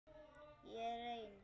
Ég er einn.